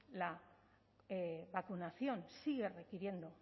la vacunación sigue requiriendo